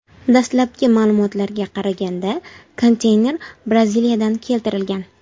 Dastlabki ma’lumotlarga qaraganda, konteyner Braziliyadan keltirilgan.